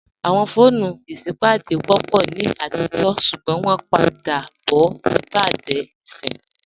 Awọn foonu isipádé wọ́pọ̀ ni atijọ̀ ṣugbọn wọn pa dà bọ̀ nibẹ̀dé ìṣin.